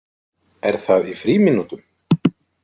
Er það í frímínútum?